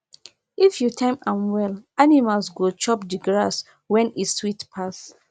if you time am well animals go chop the grass when e sweet pass